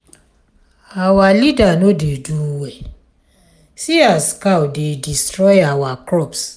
our leader no dey do well see as cow dey destroy our crops.